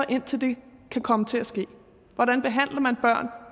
indtil det kan komme til at ske hvordan behandler man børn